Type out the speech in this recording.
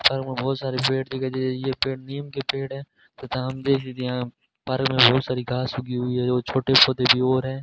Park में बहुत सारे पेड़ दिखाई दे रहे हैं यह पेड़ नीम के पेड़ है तथा हम यहां पर पार्क में बहुत सारी घास उगी हुई है जो छोटे पौधे भी और हैं।